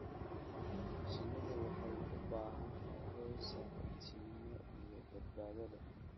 Shinnidu waxay u baahan tahay hoy saaxiibtinimo iyo badbaado leh.